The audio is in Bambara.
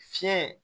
Fiɲɛ